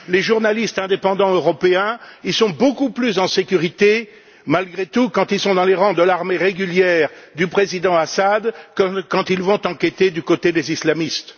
Les journalistes indépendants européens sont beaucoup plus en sécurité, malgré tout, quand ils sont dans les rangs de l'armée régulière du président Bachar el Assad que lorsqu'ils vont enquêter du côté des islamistes.